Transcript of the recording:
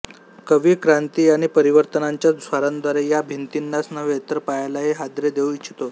कवी क्रांती आणि परिवर्तनांच्या स्वरांद्वारे या भिंतीनाच नव्हे तर पायालाही हादरे देऊ इच्छितो